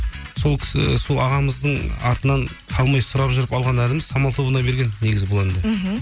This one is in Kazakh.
сол кісі сол ағамыздың артынан қалмай сұрап жүріп алған әніміз самал тобына берген негізі бұл әнді мхм